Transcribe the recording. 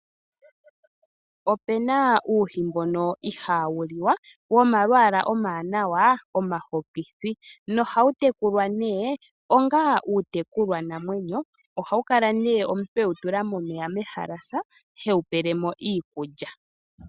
Opuna uuhi mbono ihaawu li wa, wo malwaala omawanawa omahokithi, nohawu tekulwa nee onga uutekulwa namwenyo. Ohawu kala nee omuntu e wu tula momeya mehalasa he wu pele mo iikulya.